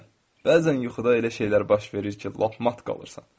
Bəzən yuxuda elə şeylər baş verir ki, lap mat qalırsan.